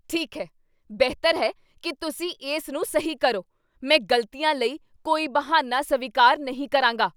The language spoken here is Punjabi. ਠੀਕ ਹੈ, ਬਿਹਤਰ ਹੈ ਕੀ ਤੁਸੀਂ ਇਸ ਨੂੰ ਸਹੀ ਕਰੋ। ਮੈਂ ਗ਼ਲਤੀਆਂ ਲਈ ਕੋਈ ਬਹਾਨਾ ਸਵੀਕਾਰ ਨਹੀਂ ਕਰਾਂਗਾ।